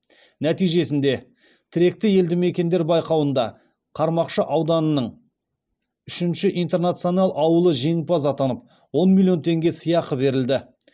нәтижесінде тіректі елді мекендер байқауында қармақшы ауданының үшінші интернационал ауылы жеңімпаз атанып он миллион теңге сыйақы берілді